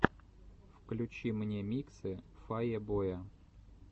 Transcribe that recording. включи мне миксы фае боя